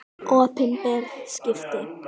Opinber skipti.